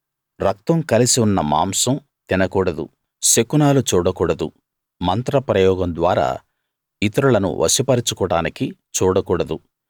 రక్తం కలిసి ఉన్న మాంసం తినకూడదు శకునాలు చూడకూడదు మంత్ర ప్రయోగం ద్వారా ఇతరులను వశపరచుకోడానికి చూడకూడదు